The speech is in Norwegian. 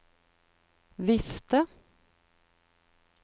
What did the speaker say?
vifte